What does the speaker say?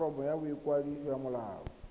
foromo ya boikwadiso ya molao